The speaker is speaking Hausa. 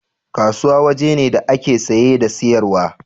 Kasuwa waje ne da ake saye da siyarwa